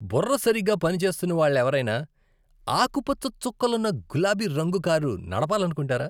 బుర్ర సరిగ్గా పనిచేస్తున్న వాళ్వెవరైనా ఆకుపచ్చ చుక్కలున్న గులాబీ రంగు కారు నడపాలనుకుంటారా?